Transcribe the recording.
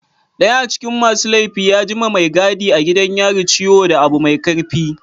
daya acikin masu laifi ya gi ma Mai gadi a gidan yari ciwo da Abu Mai karfi.